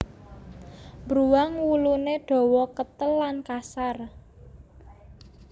Bruwang wuluné dawa ketel lan kasar